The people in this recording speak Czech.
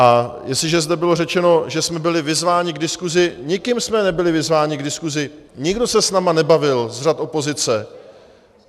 A jestliže zde bylo řečeno, že jsme byli vyzváni k diskusi - nikým jsme nebyli vyzváni k diskusi, nikdo se s námi nebavil z řad opozice.